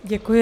Děkuji.